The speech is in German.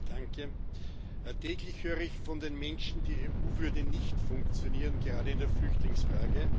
Herr Präsident! Täglich höre ich von den Menschen, die EU würde nicht funktionieren gerade in der Flüchtlingsfrage.